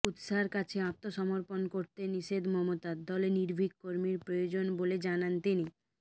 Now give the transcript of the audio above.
কুৎসার কাছে আত্মসমর্পণ করতে নিষেধ মমতার দলে নির্ভীক কর্মীর প্রয়োজন বলে জানান তিনি